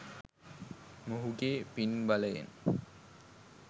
මොහුගේ පින් බලයෙන්